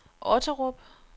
Otterup